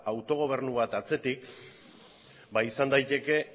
autogobernu bat atzetik izan daiteke